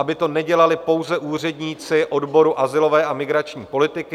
Aby to nedělali pouze úředníci odboru azylové a migrační politiky.